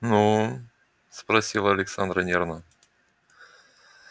ну спросила александра нервно